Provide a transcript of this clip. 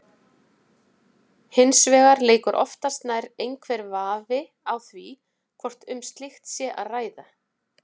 Hins vegar leikur oftast nær einhver vafi á því hvort um slíkt sé að ræða.